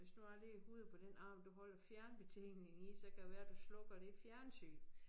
Hvis nu jeg lægger hovedet på den arm du holder fjernbetjeningen i så kan det være du slukker det fjernsyn